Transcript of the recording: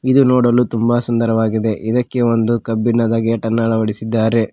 ಇದು ನೋಡಲು ತುಂಬ ಸುಂದರವಾಗಿದೆ ಇದಕ್ಕೆ ಒಂದು ಕಬ್ಬಿಣದ ಗೇಟ್ ಅನ್ನು ಅಳವಡಿಸಿದ್ದಾರೆ.